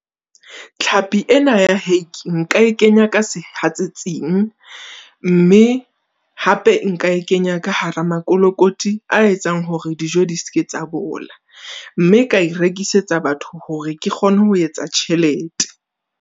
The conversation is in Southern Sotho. Tlhapi ena ya hake nka e kenya ka sehatsetsing, mme hape nka e kenya ka hara mokolokoti a etsang hore dijo di seke tsa bola. Mme ka e rekisetsa batho hore ke kgone ho etsa tjhelete.